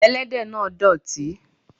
Ẹlẹ́dẹ̀ náà dọ̀tí.